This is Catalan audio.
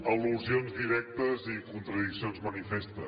al·lusions directes i contradiccions manifestes